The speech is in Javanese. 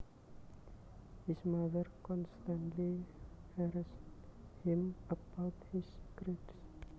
His mother constantly harassed him about his grades